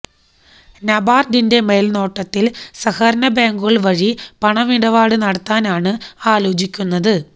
നബാര്ഡിന്റെ മേല്നോട്ടത്തില് സഹകരണ ബാങ്കുകള് വഴി പണമിടപാട് നടത്താനാണ് ആലോചിക്കുന്നത്